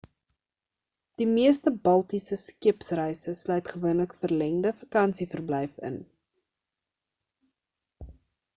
die meeste baltiese skeepsreise sluit gewoonlik verlengde vakansieverblyf in